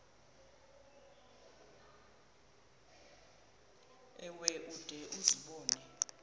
ewe ude uzibone